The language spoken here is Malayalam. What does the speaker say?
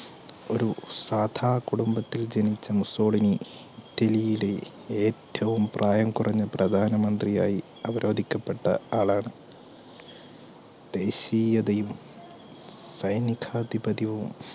സാധ കുടുംബത്തിൽ ജനിച്ച മുസോളിനി ഇറ്റലിയുടെ ഏറ്റവും പ്രായം കുറഞ്ഞ പ്രധാനമന്ത്രി ആയി ക്കപ്പെട്ട ആളാണ് ദേശിയ ദൈവം സൈനികാധിപതി